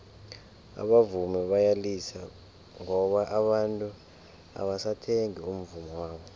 abavumi bayalila ngoba abantu abasathengi umvummo wabo